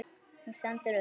Hún stendur upp.